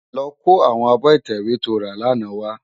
Lò kó áwòn ábò itèwé tó rá làná wá